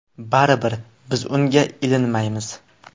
Baribir biz unga ilinmaymiz.